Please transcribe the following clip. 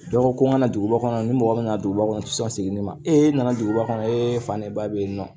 Dɔ ko n kana duguba kɔnɔ ni mɔgɔ min nana duguba kɔnɔ u ti sɔn segin ni ne ma e nana duguba kɔnɔ e fan ne ba bɛ yen nɔ